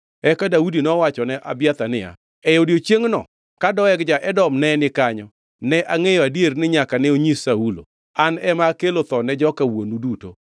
Eka Daudi nowachone Abiathar niya, “E odiechiengʼno ka Doeg ja-Edom ne ni kanyo ne angʼeyo adier ni nyaka ne onyis Saulo. An ema akelo tho ne joka wuonu duto.